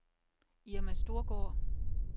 Irma Storgaard